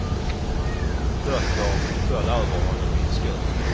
Böcker föll över honom i en skur.